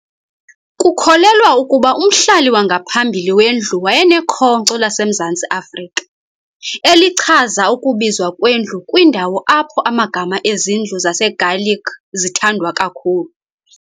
Kukholelwa ukuba umhlali wangaphambili wendlu wayenekhonkco laseMzantsi Afrika, elichaza ukubizwa kwendlu kwindawo apho amagama ezindlu zaseGaelic zithandwa kakhulu.